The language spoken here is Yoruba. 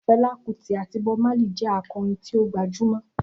Fela Kuti àti Bob Marley jẹ́ akọrin tí ó gbajúmọ̀.